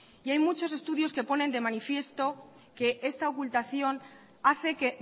hay muchos estudios que ponen de manifiesto que esta ocultación hace que